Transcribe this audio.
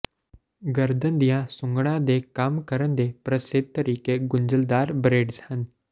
ਗਰਦਨ ਦੀਆਂ ਸੁੱਘਡ਼ਣਾਂ ਦੇ ਕੰਮ ਕਰਨ ਦੇ ਪ੍ਰਸਿੱਧ ਤਰੀਕੇ ਗੁੰਝਲਦਾਰ ਬਰੇਡਜ਼ ਹਨ